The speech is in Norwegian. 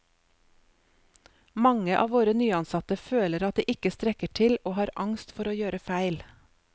Mange av våre nyansatte føler at de ikke strekker til og har angst for å gjøre feil.